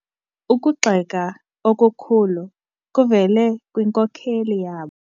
Ukugxeka okukhulu kuvele kwinkokeli yabo.